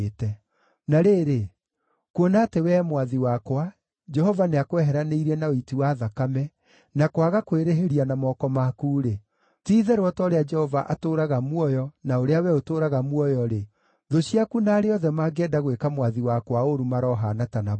“Na rĩrĩ, kuona atĩ wee mwathi wakwa, Jehova nĩakweheranĩirie na ũiti wa thakame, na kwaga kwĩrĩhĩria na moko maku-rĩ, ti-itherũ o ta ũrĩa Jehova atũũraga muoyo na ũrĩa wee ũtũũraga muoyo-rĩ, thũ ciaku na arĩa othe mangĩenda gwĩka mwathi wakwa ũũru marohaana ta Nabali.